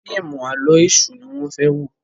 fíìmù Àló̩ Èṣù ní wón fè wọ.